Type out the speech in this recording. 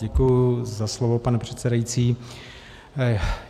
Děkuji za slovo, pane předsedající.